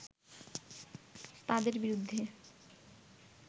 তাঁদের বিরুদ্ধে